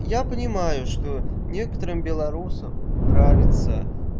я понимаю что некоторым белорусам нравится